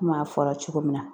Komi a fɔra cogo min na.